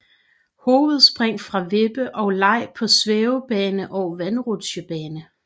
Hovedspring fra vippe og leg på svævebane og vandrutsjebane